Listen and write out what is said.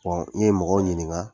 N ye mɔgɔw ɲininka